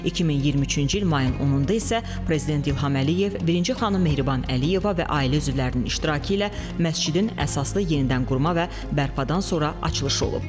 2023-cü il mayın 10-da isə prezident İlham Əliyev, birinci xanım Mehriban Əliyeva və ailə üzvlərinin iştirakı ilə məscidin əsaslı yenidənqurma və bərpadan sonra açılışı olub.